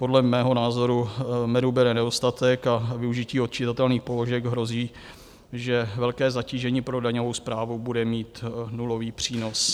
Podle mého názoru medu bude nedostatek a využití odčitatelných položek hrozí, že velké zatížení pro daňovou správu bude mít nulový přínos.